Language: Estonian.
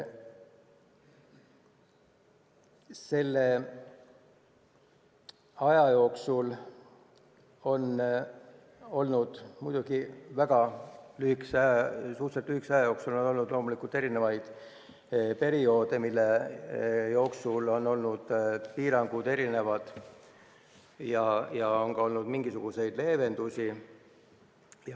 Selle suhteliselt lühikese aja jooksul on loomulikult olnud erinevaid perioode, mille vältel on olnud erinevaid piiranguid ja on olnud ka mingisuguseid leevendusi.